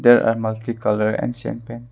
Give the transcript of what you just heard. There are multI colour ancient paints.